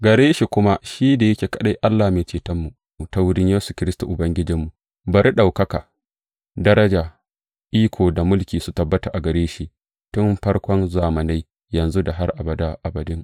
Gare shi kuma, shi da yake kaɗai Allah Mai Cetonmu, ta wurin Yesu Kiristi Ubangijinmu, bari ɗaukaka, daraja, iko da mulki, su tabbata a gare shi, tun farkon zamanai, yanzu, da har abada abadin!